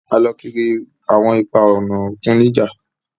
A lọ kiri awọn ipa-ọna okun nija